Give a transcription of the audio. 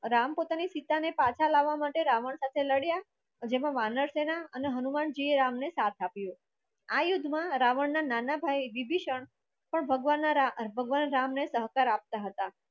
રામ પોતાની સીતાને પાછા લાવવા માટે રાવણ સાથે લડ્યા જેમાં વાનર સેના અને હનુમાનજીએ એમનો સાથ આપ્યો આ યુદ્ધમાં રાવણના નાના ભાઈ વિભિસણ પણ ભગવાન રામ ભગવાન રામ એ સહકાર આપતા હતા